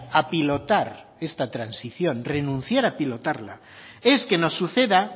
a pilotar esta transición renunciar a pilotarla es que nos suceda